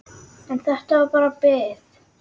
En þetta var bara bið.